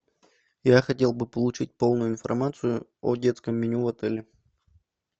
я хотел бы получить полную информацию о детском меню в отеле